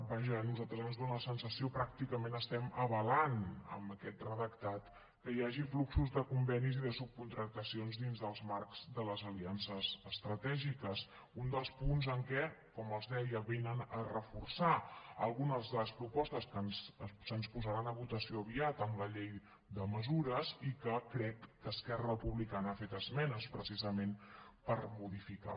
vaja a nosaltres ens dóna la sensació que pràcticament estem avalant amb aquest redactat que hi hagi fluxos de convenis i de subcontractacions dins els marcs de les aliances estratègiques un dels punts en què com els deia reforcen algunes de les propostes que se’ns posaran a votació aviat amb la llei de mesures i en què crec que esquerra republicana ha fet esmenes precisament per modificar